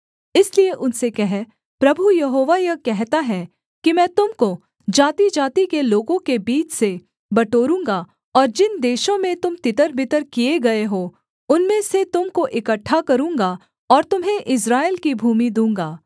इसलिए उनसे कह प्रभु यहोवा यह कहता है कि मैं तुम को जातिजाति के लोगों के बीच से बटोरूँगा और जिन देशों में तुम तितरबितर किए गए हो उनमें से तुम को इकट्ठा करूँगा और तुम्हें इस्राएल की भूमि दूँगा